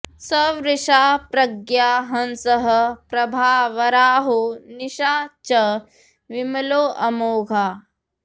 सवृषा प्रज्ञा हंसः प्रभा वराहो निशा च विमलोऽमोघा